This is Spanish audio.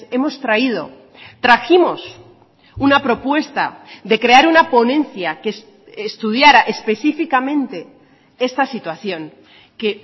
hemos traído trajimos una propuesta de crear una ponencia que estudiara específicamente esta situación que